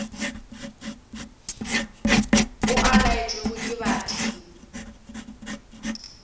o a laetšwego ke badimo